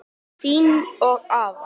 Þín og afa.